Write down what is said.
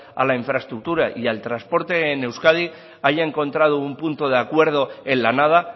a la infraestructura y al transporte en euskadi haya encontrado un punto de acuerdo en la nada